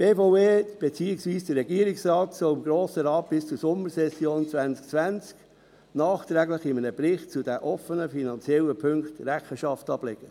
Die BVE – beziehungsweise der Regierungsrat – soll dem Grossen Rat bis zur Sommersession 2020 nachträglich in einem Bericht zu den offenen finanziellen Punkten Rechenschaft ablegen.